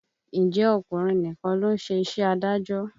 Ǹjẹ́ ọkùnrin nìkan ló ń ṣe iṣẹ́ adájọ́?